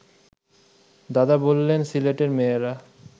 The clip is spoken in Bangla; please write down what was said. দাদা বললেন সিলেটের মেয়েরা